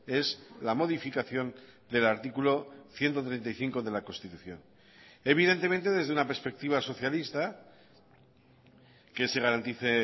es la modificación del artículo ciento treinta y cinco de la constitución evidentemente desde una perspectiva socialista que se garantice